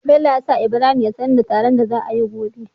Bello ya sa ibrahim ya sanar da taron da za ayi gobe